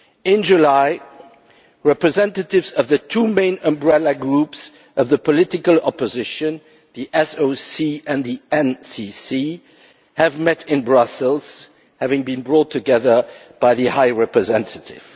In July, representatives of the two main umbrella groups of the political opposition, the SOC and the NCC, met in Brussels, having been brought together by the High Representative.